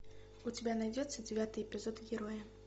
у тебя найдется девятый эпизод героя